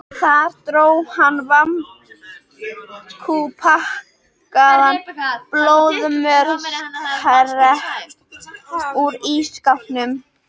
Þar dró hann vakúmpakkaðan blóðmörskepp úr ísskápnum.